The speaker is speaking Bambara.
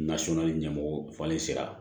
Nasɔnna ni ɲɛmɔgɔ falen sera